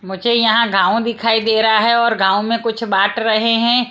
मुझे यहां गांव दिखाई दे रहा हैं और गांव में कुछ बाट रहें हैं।